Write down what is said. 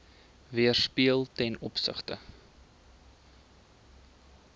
weerspieël ten opsigte